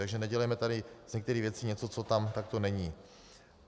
Takže nedělejme tady z některých věcí něco, co tam takto není.